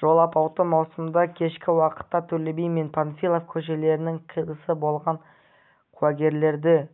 жол апаты маусымда кешкі уақытта төле би мен панфилов көшелерінің қиылысында болған куәгерлердің